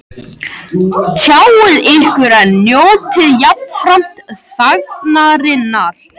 Tjáið ykkur en njótið jafnframt þagnarinnar